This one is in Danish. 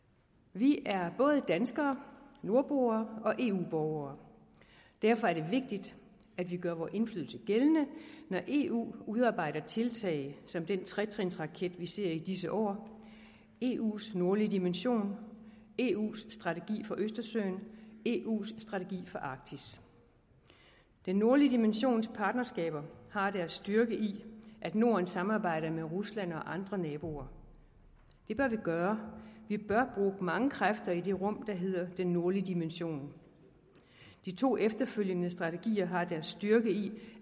vi er både danskere nordboere og eu borgere og derfor er det vigtigt at vi gør vores indflydelse gældende når eu udarbejder tiltag som den tretrinsraket vi ser i disse år eus nordlige dimension eu’s strategi for østersøen og eus strategi for arktis den nordlige dimensions partnerskaber har deres styrke i at norden samarbejder med rusland og andre naboer det bør vi gøre vi bør bruge mange kræfter i det rum der hedder den nordlige dimension de to efterfølgende strategier har deres styrke i